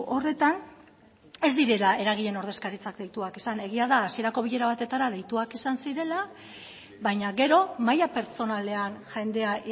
horretan ez direla eragileen ordezkaritzak deituak izan egia da hasierako bilera batetara deituak izan zirela baina gero maila pertsonalean jendea